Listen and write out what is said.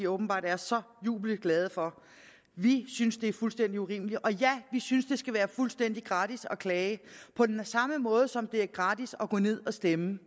åbenbart er så jublende glade for vi synes det er fuldstændig urimeligt og ja vi synes det skal være fuldstændig gratis at klage på samme måde som det er gratis at gå ned og stemme